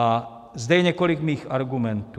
A zde je několik mých argumentů.